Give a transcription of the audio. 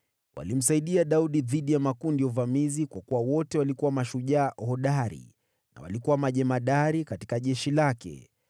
Walimsaidia Daudi dhidi ya makundi ya uvamizi, kwa kuwa wote walikuwa mashujaa hodari na walikuwa majemadari katika jeshi lake.